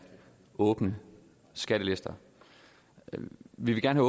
åbne skattelister vi vil gerne